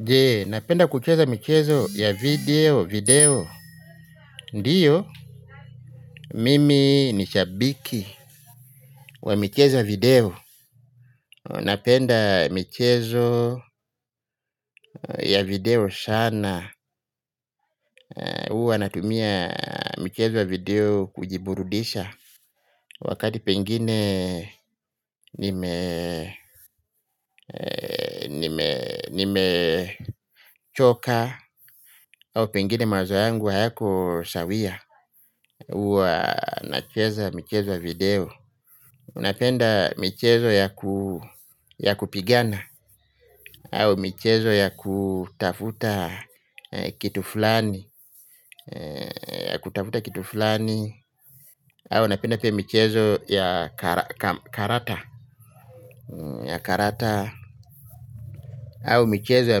Je, napenda kucheza michezo ya video, video. Ndiyo, mimi nishabiki wa michezo ya video. Napenda michezo ya video sana. Uwa natumia michezo ya video kujiburudisha wakati pengine nimechoka au pengine mawazo yangu hayako sawia. Uwa nacheza michezo ya video. Unapenda michezo ya kupigana au michezo ya kutafuta kitu fulani ya kutafuta kitu fulani au unapenda pia michezo ya karata au michezo ya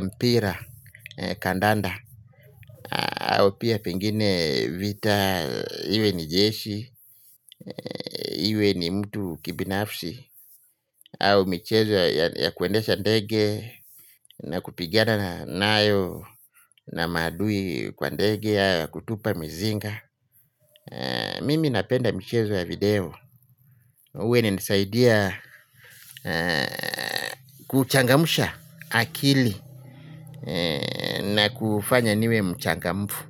mpira, kandanda au pia pengine vita, iwe ni jesi. Iwe ni mtu kibinafsi au michezo ya kuendesha ndege na kupigana na nayo. Na maadui kwa ndege. Kutupa mizinga. Mimi napenda michezo ya video. Uwe inanisaidia kuchangamsha akili na kufanya niwe mchangamfu.